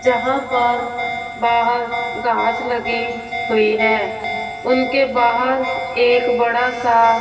जहां पर बाहर घास लगी हुई है उनके बाहर एक बड़ा सा--